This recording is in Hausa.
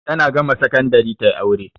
Tana gama sakandari ta yi aure.